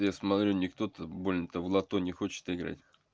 я смотрю никто то больно то в лото не хочет играть